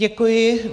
Děkuji.